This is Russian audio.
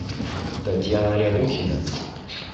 татьяна рябухина